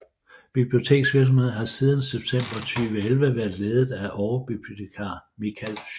Biblioteksvirksomheden har siden september 2011 været ledet af overbibliotekar Mikael Sjögren